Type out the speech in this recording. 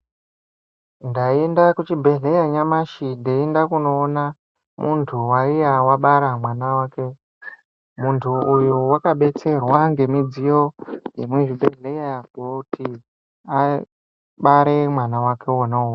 Ndaenda kuchibhedhlera nyamashi ndeienda kunoona muntu waiya abara mwana wake. Muntu uyu wakabetserwa ngemudziyo yemuchibhedhlera kuti abare mwana wake wona uwowo.